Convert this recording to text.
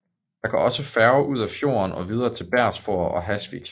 Der går også færge ud af fjorden og videre til Bergsfjord og Hasvik